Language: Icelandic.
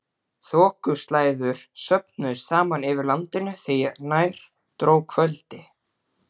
Þokuslæður söfnuðust saman yfir landinu þegar nær dró kvöldi.